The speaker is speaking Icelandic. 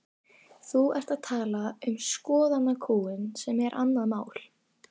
Þú ert að tala um skoðanakúgun sem er annað mál.